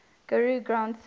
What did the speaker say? guru granth sahib